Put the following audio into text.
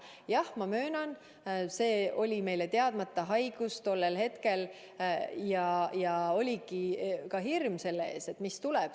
Jah, ma möönan, et tol hetkel oli see haigus meile tundmatu ja oligi hirm selle ees, mis tuleb.